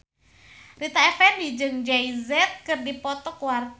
Rita Effendy jeung Jay Z keur dipoto ku wartawan